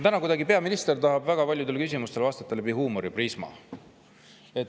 Täna tahab peaminister väga paljudele küsimustele vastata kuidagi läbi huumoriprisma.